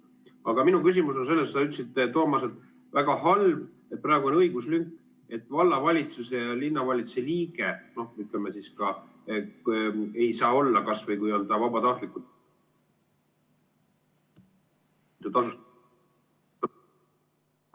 Aga minu küsimus on, et sa ütlesid, Toomas, et on väga halb, et praegu on õiguslünk, et ei saa olla vallavalitsuse ja linnavalitsuse liige, kas või kui ta vabatahtlikult ...